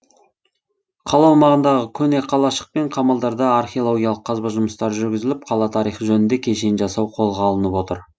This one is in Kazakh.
қала аумағындағы көне қалашық пен қамалдарда археологиялық қазба жұмыстары жүргізіліп қала тарихы жөнінде кешен жасау қолға алынып отыр